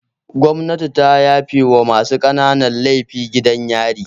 Gwamnati ta yafe wa masu ƙananan laifin gidan yari